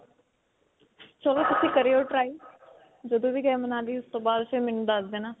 ਚਲੋ ਤੁੱਸੀ ਕਰਿਓ try ਜਦੋਂ ਵੀ ਗਏ ਮਨਾਲੀ ਉਸ ਤੋਂ ਬਾਦ ਫਿਰ ਮੈਨੂੰ ਦਸ ਦੇਣਾ.